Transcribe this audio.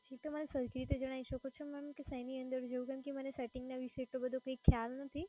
શું તમે મને સરખી રીતે જનય શકો ચો કે શેની અંદર કેમ કે મને setting ના વિશે આટલો બધો ખ્યાલ નથી.